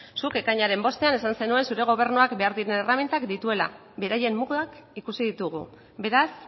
zuk ekainaren bostean esan zenuen zure gobernuak behar diren erremintak dituela beraien mugak ikusi ditugu beraz